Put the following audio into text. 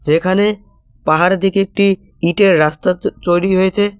এখানে পাহাড়ের দিকে একটি ইটের রাস্তা তৈরি হয়েছে।